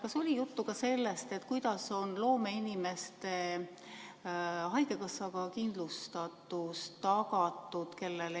Kas oli juttu ka sellest, kuidas on loomeinimeste haigekassa kindlustatus tagatud?